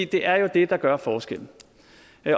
det er jo det der gør forskellen